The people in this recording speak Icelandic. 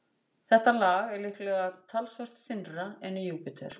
Þetta lag er líklega talsvert þynnra en í Júpíter.